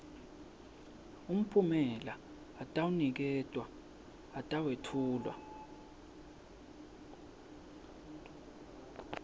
mphumela atawuniketwa atawetfulwa